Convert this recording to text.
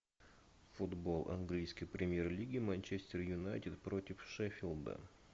футбол английской премьер лиги манчестер юнайтед против шеффилда